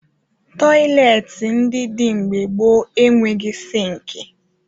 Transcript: Tọyịleetị ndị dị mgbe gboo enweghi sịịnkị